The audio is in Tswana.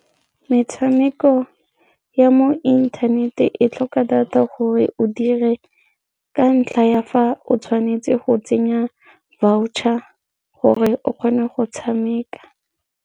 Metshameko ya mo inthanete e tlhoka data gore o dire ka ntlha ya fa o tshwanetse go tsenya voucher gore o kgone go tshameka.